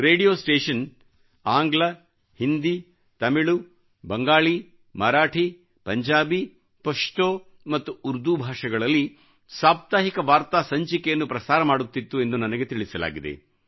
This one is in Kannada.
ರೇಡಿಯೋ ಸ್ಟೇಶನ್ ಆಂಗ್ಲ ಹಿಂದಿತಮಿಳು ಬಂಗಾಲಿ ಮರಾಠಿಪಂಜಾಬಿ ಪಶ್ತೊ ಮತ್ತು ಉರ್ದು ಭಾಷೆಗಳಲ್ಲಿ ಸಾಪ್ತಾಹಿಕ ವಾರ್ತಾ ಸಂಚಿಕೆಯನ್ನು ಪ್ರಸಾರ ಮಾಡುತ್ತಿತ್ತು ಎಂದು ನನಗೆ ತಿಳಿಸಲಾಗಿದೆ